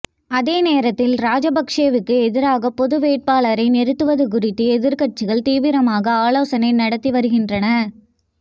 அதே நேரத்தில் ராஜபக்சேவுக்கு எதிராக பொதுவேட்பாளரை நிறுத்துவது குறித்து எதிர்க்கட்சிகள் தீவிரமாக ஆலோசனை நடத்தி வருகின்றன